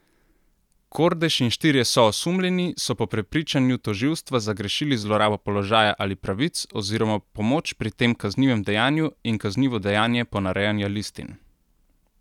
Kordež in štirje soosumljeni so po prepričanju tožilstva zagrešili zlorabo položaja ali pravic oziroma pomoč pri tem kaznivem dejanju in kaznivo dejanje ponarejanja listin.